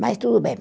Mas tudo bem.